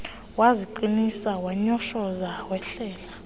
waziqinisa wanyoshoza wehlela